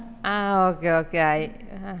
ആഹ് okay okay ആയി